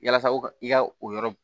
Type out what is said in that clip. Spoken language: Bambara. Yasa u ka i ka o yɔrɔ